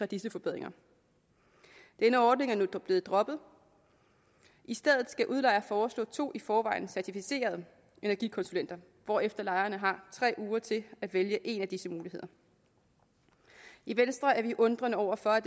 disse forbedringer denne ordning er nu blevet droppet i stedet skal udlejer foreslå to i forvejen certificerede energikonsulenter hvorefter lejerne har tre uger til at vælge en af disse muligheder i venstre er vi undrende over for at